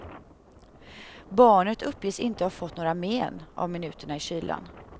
Barnet uppges inte ha fått några men av minuterna i kylan.